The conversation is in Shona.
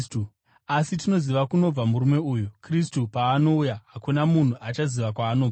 Asi tinoziva kunobva murume uyu; Kristu paanouya, hakuna munhu achaziva kwaanobva.”